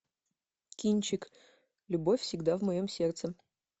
кинчик любовь всегда в моем сердце